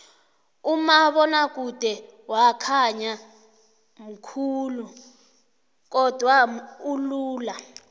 umabonakude wakhaya mkhulu kodwana ulula